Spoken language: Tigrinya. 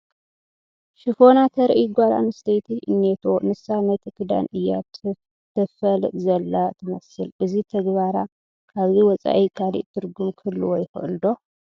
ሽፎና ተርእይ ጓል ኣነስተይቲ እኔቶ፡፡ ንሳ ነቲ ክዳን እያ ተፋልጥ ዘላ ትመስል፡፡ እዚ ተግባራ ካብዚ ወፃኢ ካልእ ትርጉም ክህልዎ ይኽእል ዶ?